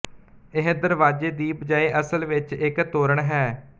ਇਹ ਦਰਵਾਜ਼ੇ ਦੀ ਬਜਾਏ ਅਸਲ ਵਿੱਚ ਇੱਕ ਤੋਰਣ ਹੈ